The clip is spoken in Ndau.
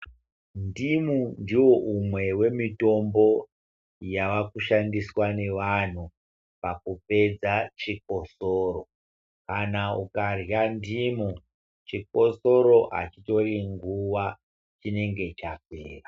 Ndimu ndiwo umwe we mitombo yava kushandiswa ne vantu paku pedza chikosoro. Kana ukarya ndimu chikosoro achitori nguva chingenge chapera.